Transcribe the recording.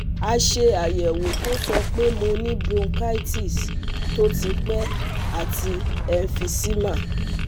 A ṣe ayẹwo to sọ pe mo ni bronchitis to ti pe ati emphysema